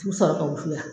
U bɛ sɔrɔ ka wusu yan